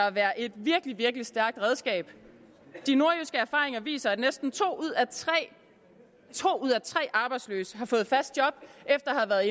at være et virkelig virkelig stærkt redskab de nordjyske erfaringer viser at næsten to ud af tre arbejdsløse har fået fast job efter at